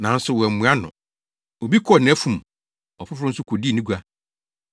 “Nanso wɔammua no. Obi kɔɔ nʼafum. Ɔfoforo nso kodii ne gua.